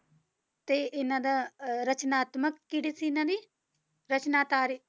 ਤੇ ਇਹਨਾਂ ਦਾ ਅਹ ਰਚਨਾਤਮਕ ਕਿਹੜੀ ਸੀ ਇਹਨਾਂ ਦੀ ਰਚਨਾਤਾਰੀ